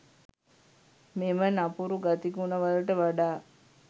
මෙම නපුරුගතිගුණ වලට වඩා